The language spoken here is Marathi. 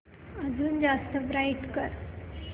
अजून जास्त ब्राईट कर